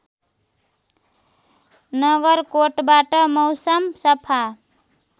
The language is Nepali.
नगरकोटबाट मौसम सफा